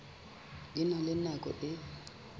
di na le nako e